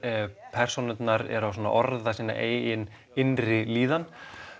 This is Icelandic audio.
persónurnar eru að orða sína eigin innri líðan